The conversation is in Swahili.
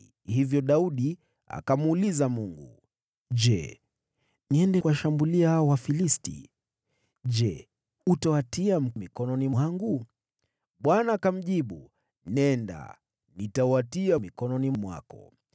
Hivyo Daudi akamuuliza Mungu: “Je, niende kuwashambulia hao Wafilisti? Je, utawatia mikononi mwangu?” Bwana akamjibu, “Nenda, nitawatia mikononi mwako.”